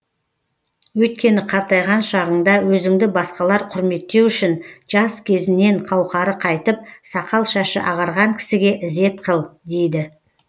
өйткені қартайған шағыңда өзіңді басқалар құрметтеу үшін жас кезіңнен қауқары қайтып сақал шашы ағарған кісіге ізет қыл дейді